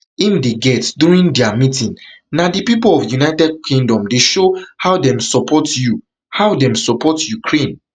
im dey get during dia meeting na di pipo of united kingdom dey show how dem support you how dem support ukraine